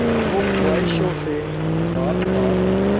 हो ख्वाहिशों से बात बात